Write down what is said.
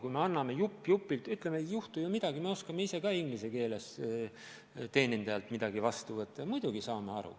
Kui me anname jupp-jupilt tagasi, ütleme, et ei juhtu midagi, me oskame ise ka inglise keeles teenindajalt midagi vastu võtta, muidugi saame aru.